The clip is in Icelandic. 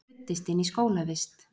Ruddist inn í skólavist